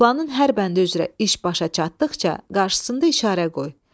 Planın hər bəndi üzrə iş başa çatdıqca qarşısında işarə qoy.